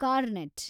cornet